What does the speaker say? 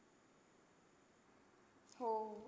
हो.